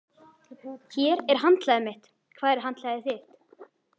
Hér er handklæðið mitt. Hvar er handklæðið þitt?